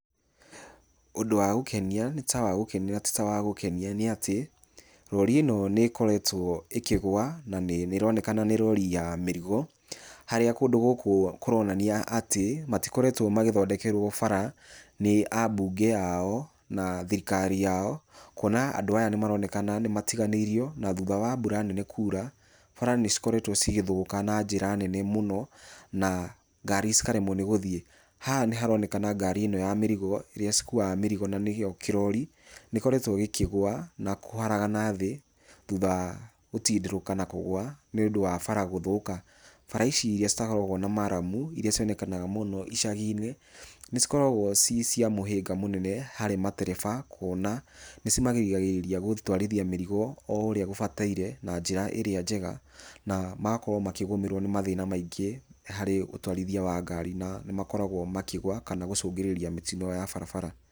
Ũndũ wa gũkenia nĩ ta wa gũkenia na ti ta wa gũkenia nĩ atĩ, rori ĩno nĩ ĩkoretwo ĩkĩgũa na nĩ nĩ ĩronekana nĩ rori ya mĩrigo harĩa kũndũ gũkũ kũroonania atĩ matikoretwo magĩthondekerwo bara nĩ abunge ao, na thirikari yao. Kwona andũ aya nĩ maroneka nĩ matiganĩirio na thutha wa mbura nene kuura, bara nĩ cikoretwo cigĩthũka na njĩra nene mũno na ngari cikaremwo nĩ gũthiĩ. Haha nĩ haronekana ngari ĩno ya mĩrigo iria cikuaga mĩrigo na nĩgĩo kĩrori, nĩ ĩkoretwo gĩkĩgũa na kũharagana thĩ, thutha wa gũtindĩrũka na kũgũa nĩũndũ wa bara gũthũka. Bara ici iria citakoragwo na murram, iria cionekaga mũno icagi-inĩ nĩ cikoragwo ci cia mũhĩnga mũnene harĩ matereba, kũona, nĩ cimagiragĩrĩria gũtwarithia mĩrigo o ũrĩa gũbatairĩ na njĩra ĩrĩa njega na magakorwo makĩgũmĩrwo nĩ mathĩna maingĩ harĩ ũtwarithia wa ngari na nĩ makoragwo makĩgũa kana gũcũngĩrĩria mĩtino ya barabara.